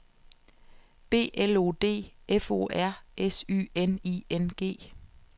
B L O D F O R S Y N I N G